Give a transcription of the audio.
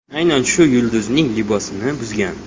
Aynan shu yulduzning libosini buzgan.